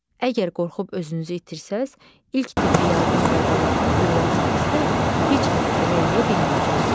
Əgər qorxub özünüzü itirsəz, ilk tibbi yardım qaydalarını öyrənsəniz də, heç kimə kömək eləyə bilməyəcəksiz.